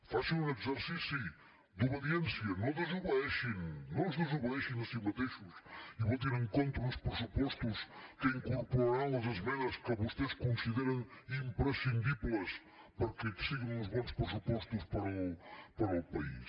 faci un exercici d’obediència no desobeeixin no es desobeeixin a si mateixos i votin en contra d’uns pressupostos que incorporaran les esmenes que vostès consideren imprescindibles perquè siguin uns bons pressupostos per al país